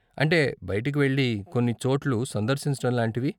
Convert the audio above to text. అంటే, బయటికి వెళ్ళి, కొన్ని చోట్లు సందర్శించటం లాంటివి.